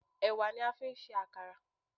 Ẹ̀wà ni a fi ń ṣe Àkàrà.